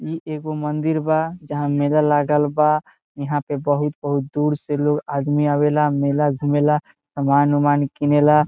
इ एगो मंदिर बा जहाँ मेला लगल बा | यहाँ पे बहुत-बहुत दूर से लोग आदमी आवेला मेला घूमे ला समान-उमान किनेला |